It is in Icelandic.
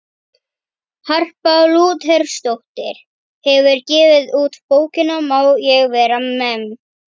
Hún segist hafa fjarvistarsönnun tvo morgna af þremur.